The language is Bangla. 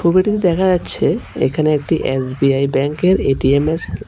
ছবিটিতে দেখা যাচ্ছে এখানে একটি এস_বি_আই ব্যাংকের এ_টি_এম -এর--